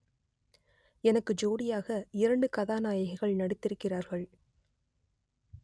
எனக்கு ஜோடியாக இரண்டு கதாநாயகிகள் நடித்திருக்கிறார்கள்